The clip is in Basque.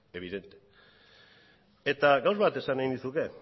evidentemente eta gauza bat esan nahi nizuke